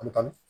An bɛ taa